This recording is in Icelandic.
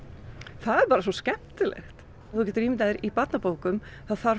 það er bara svo skemmtilegt þú getur ímyndað þér í barnabókum það þarf